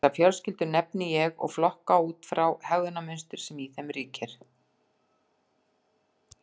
Þessar fjölskyldur nefni ég og flokka út frá hegðunarmynstrinu sem í þeim ríkir.